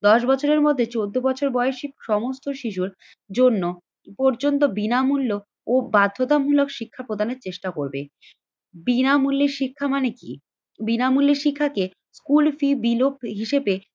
দশ বছরের মধ্যে চোদ্দ বছর বয়সী সমস্ত শিশুর জন্য পর্যন্ত বিনামূল্য ও বাধ্যতামূলক শিক্ষা প্রদানের চেষ্টা করবে। বিনামূল্যে শিক্ষা মানে কি? বিনামূল্যে শিক্ষাকে কুলফি বিলোপ হিসেবে